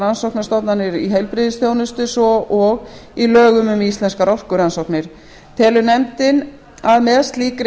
rannsóknastofnanir í heilbrigðisþjónustu svo og í lögum um íslenskar orkurannsóknir telur nefndin að með slíkri